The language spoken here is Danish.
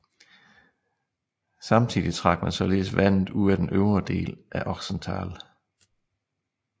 Samtidig trak man således vandet ud af den øvre del af Ochsental